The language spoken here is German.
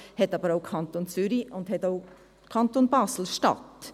Dies haben aber auch der Kanton Zürich und der Kanton Basel-Stadt.